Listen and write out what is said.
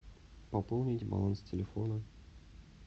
пополнить баланс телефона